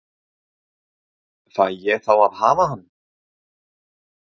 Fæ ég þá að hafa hann?